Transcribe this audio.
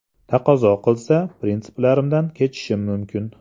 Taqozo qilsa, prinsiplarimdan kechishim mumkin.